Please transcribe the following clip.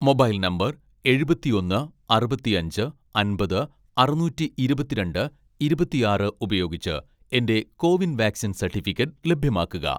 mobile number എഴുപത്തിയൊന്ന് അറുപത്തിയഞ്ച് അമ്പത് അറുനൂറ്റി ഇരുപത്തിരണ്ട് ഇരുപത്തിയാറ് ഉപയോഗിച്ച് എന്റെ കോവിൻ വാക്‌സിൻ സർട്ടിഫിക്കറ്റ് ലഭ്യമാക്കുക